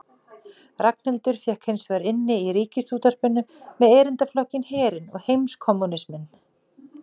Ragnhildur fékk hins vegar inni í Ríkisútvarpinu með erindaflokkinn Herinn og heimskommúnisminn.